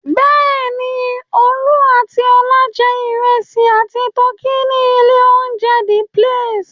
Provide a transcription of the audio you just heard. Bẹ́ẹ̀ ni, Olú àti Ọlá jẹ ìrẹsì àti tọkí ní ilé-oúnjẹ The Place.